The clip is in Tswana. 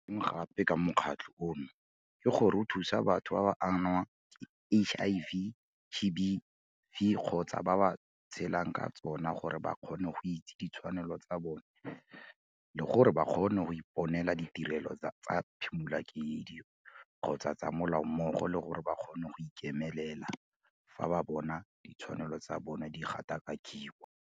Se sengwe gape ka mokgatlho ono ke gore o thusa batho ba ba angwang ke HIV-GBV kgotsa ba ba tshelang ka tsona gore ba kgone go itsi ditshwanelo tsa bona le gore ba kgone go iponela ditirelo tsa phimolakeledi kgotsa tsa molao mmogo le gore ba kgone go ikemelela fa ba bona ditshwanelo tsa botho di gatakakiwa.